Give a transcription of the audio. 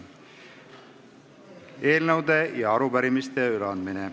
Eelnõude ja arupärimiste üleandmine.